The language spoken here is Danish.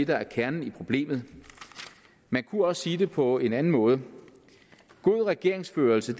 der er kernen i problemet man kunne også sige det på en anden måde god regeringsførelse